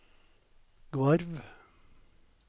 Gvarv